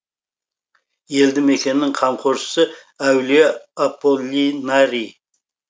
елді мекеннің қамқоршысы әулие аполлинарий